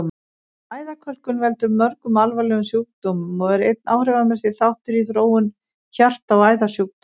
Æðakölkun veldur mörgum alvarlegum sjúkdómum og er einn áhrifamesti þáttur í þróun hjarta- og æðasjúkdóma.